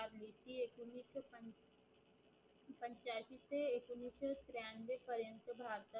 भारताचे